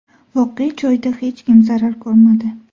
Voqea joyida hech kim zarar ko‘rmadi.